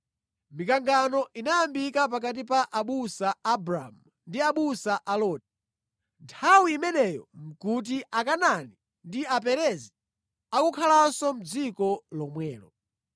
Mikangano inayambika pakati pa abusa a Abramu ndi abusa a Loti. Nthawi imeneyo nʼkuti Akanaani ndi Aperezi akukhalanso mʼdziko lomwelo.